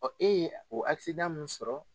Ɔ e ye o min sɔrɔ